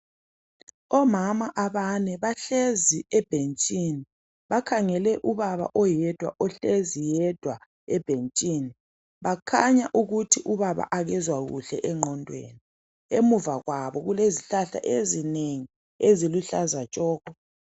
Omama abane bahlezi ebhentshini . Bakhangele ubaba oyedwa, ohlezi yedwa ebhentshini. Bakhanya ukuthi ubaba akezwa kuhle engqondweni. Emuva kwabo kulezihlahla ezinengi eziluhlaza tshoko.